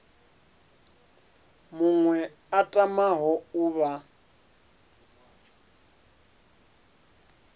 muṅwe a tamaho u vha